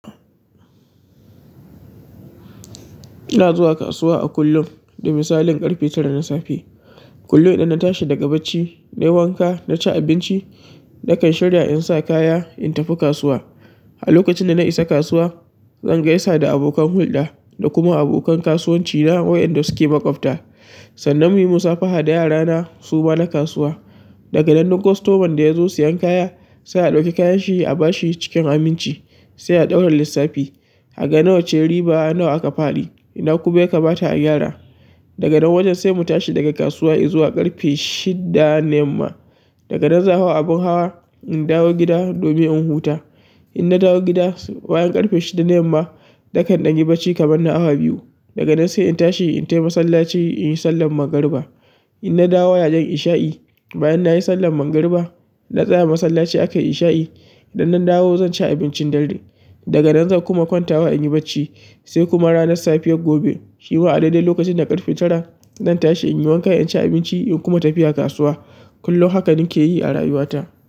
Ina zuwa kasuwa a kullum da misalin ƙarfe tara na safe. Kullum idan na tashi daga bacci, na yi wanka, na ci abinci, na kan shirya in sa kaya in tafi kasuwa. A lokacin da na isa kasuwa, zan gaisa da abokan hulɗa da kuma abokan kasuwanci na wayanda suke maƙwabta. Sannan muyi musabaha da yara na suma na kasuwa. Daga nan duk customer da ya zo siyan kaya, sai a ɗauki kayan shi a bashi cikin aminci, sai a ɗaura lissafi. A ga nawa ce riba nawa aka faɗi. Ina kuma ya kamata a gyara. Daga nan wajen sai mu tashi daga kasuwa in zuwa ƙarfe shida na yamma. Daga nan zan hau abin hawa, in dawo gida domin in huta. In na dawo gida bayan ƙarfe shida na yamma, na kan ɗan yi bacci kamar na awa biyu. Daga nan sai in tashi in tafi masallaci in yi sallar magariba. In na dawo yayin isha'i, bayan nayi sallar magariba, na tsaya a masallaci aka in sha'i, idan na dawo zan ci abincin dare. Daga nan zan kuma kwantawa in yi bacci sai kuma ranar safiyar gobe, shi ma a daidai lokacin da ƙarfe tara, zan tashi in yi wanka, in ci abinci in kuma tafi a kasuwa. Kullum haka nake yi a rayuwata.